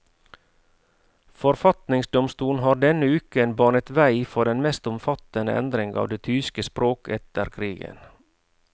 Forfatningsdomstolen har denne uken banet vei for den mest omfattende endring av det tyske språk etter krigen.